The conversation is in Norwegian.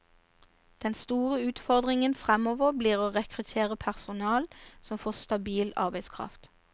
Den store utfordringen fremover blir å rekruttere personell og få stabil arbeidskraft.